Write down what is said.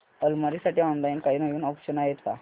अलमारी साठी ऑनलाइन काही नवीन ऑप्शन्स आहेत का